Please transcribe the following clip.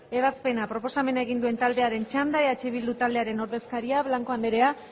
ebazpena blanco anderea